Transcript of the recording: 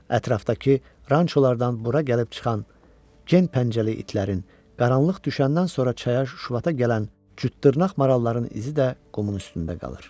Ətrafdakı rançolardan bura gəlib çıxan gen pəncəli itlərin, qaranlıq düşəndən sonra çaya şuvata gələn cüt dırnaq maralların izi də qumun üstündə qalır.